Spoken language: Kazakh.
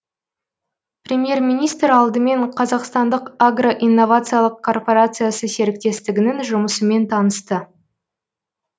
премьер министр алдымен қазақстандық агро инновациялық корпорациясы серіктестігінің жұмысымен танысты